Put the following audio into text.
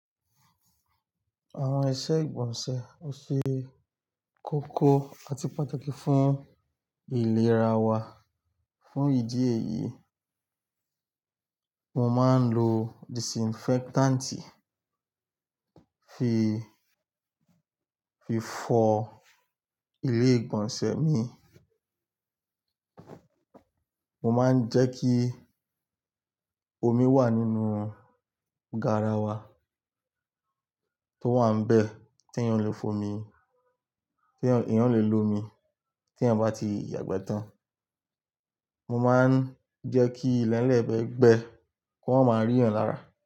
Àwọn iṣẹ́ ìgbọ̀nsẹ̀ ò ṣe kókó àti pàtàkì fún ìlera wa. Fún ìdí èyí, mo máa ń lo disinfectant fi, fi fọ ilé ìgbọ̀nsẹ̀ mi. Mo máa ń jẹ́ kí omi wà nínú garawa tó wà nbẹ̀ t'èèyàn lè f'omi, t'èèyàn lè lo omi t'èèyàn bá ti yàgbẹ́ tán. Mo máa ń jẹ́ kí ilẹ̀ẹ́lẹ̀bẹ̀ gbẹ, kí o má rí èèyàn lára.